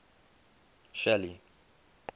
shelly